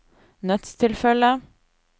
nødstilfelle